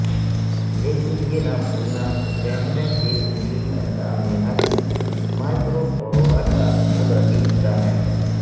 لیکن یہ نہ بھولنا کہ کینڈیڈا کی انگلی اندام نہانی مائکروفورورا کا قدرتی حصہ ہیں